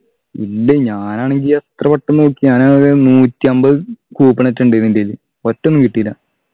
ഇല്ല ഞാനാണെങ്കി എത്ര വട്ടം നോക്കി ഞാനാ ത് നൂറ്റമ്പത് coupon ആറ്റം ഉണ്ടെന് എൻ്റെ കയ്യില് ഒറ്റൊന്നു കിട്ടീല